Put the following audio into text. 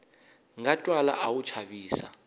nga twala a wu chavisa